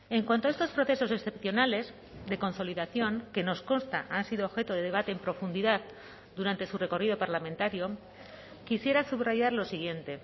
en cuanto a estos procesos excepcionales de consolidación que nos consta han sido objeto de debate en profundidad durante su recorrido parlamentario quisiera subrayar lo siguiente